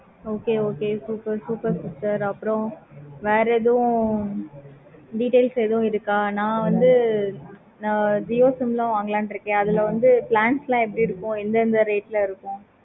okay okay super super super எதுவும் details எதுவும் இருக்க? நா வந்து நா jio sim லா வாங்களா இருக்கேன். அதுல வந்து plans எல்லாம் எப்படி இருக்கும். எந்த எந்த rate ல இருக்கும்.